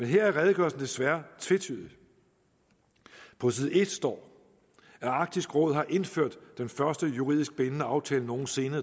her er redegørelsen desværre tvetydig på side en står at arktisk råd har indført den første juridisk bindende aftale nogen sinde